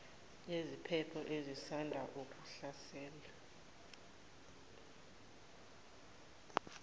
yeziphepho ezisanda kuhlasela